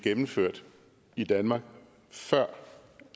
gennemført i danmark før